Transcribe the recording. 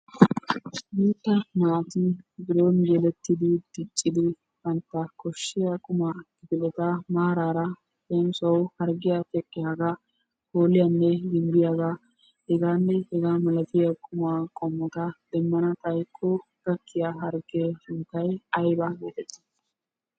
Guutta naati biron yelettidi diccidi bantta koshshiya qumaa kifileta maaraara leemisuwawu harggiya teqqiyagaa, kooliyanne gimbbiyagaa hegaanne hegaa milatiya qumaa qommota demmana xaykko gakkiya harggee sunttay ayba geetettii?